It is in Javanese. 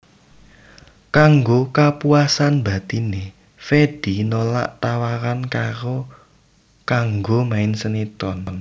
Kanggo kapuasan batiné Fedi nolak tawaran kanggo main sinetron